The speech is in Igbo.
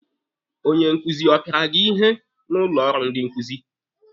Onye nkuzi ọ pịara gị ihe n'ụlọ ọrụ ndị nkuzi?